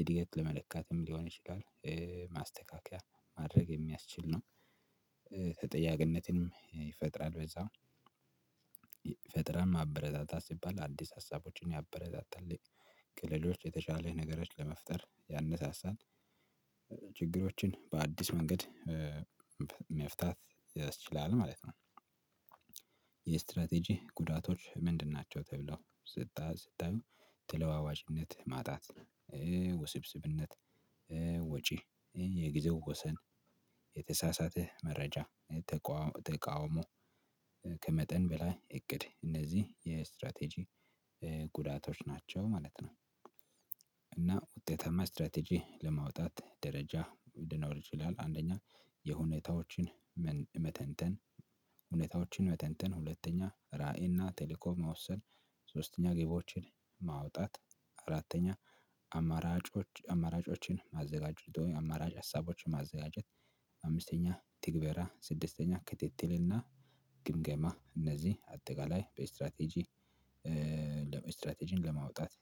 ኢድገት ለመለካትም ሊሆን ይችላል ማስተካከያ ማድረግ የሚያስችል ነው። ተጠያቂነትንም ይፈጥራል በዛው ፈጥራን ማበረታታት ሲባል አዲስ ሀሳቦችን ያበረታታል። ከሌሎች የተሻለ ነገሮችን ለመፍጠር ያነሳሳል። ችግሮችን በአዲስ መንገድ መፍታት ያስችላል ማለት ነው። የስትራቴጂ ጉዳቶች ምንድን ናቸው? ተብለው ስታየው ተለዋዋጭነት ማጣት ውስብስብነት ወጪ የጊዜው ወሰን የተሳሳተ መረጃ ተቃውሞ ከመጠን በላይ እቅድ እነዚህ የስትራቴጂ ጉዳቶች ናቸው ማለት ነው። ውጤታማ ስትራቴጂ ለማውጣት ደረጃ ልኖር ይችላል። አንደኛ የሁኔታዎችን መተንተን ሁኔታዎችን መተንተን ሁለተኛ ራዕይና ቴሌኮም መወሰን ሶስተኛ ግቦችን ማውጣት አራተኛ አማራጮች አማራጮችን ማዘጋጁ አማራጭ ሀሳቦችን ማዘጋጀት አምስተኛ ትግበራ ስድስተኛ ክትትልና ግምገማ እነዚህ አጠቃላይ በስትራቴጂ ለመስትራቴጂን ለማውጣት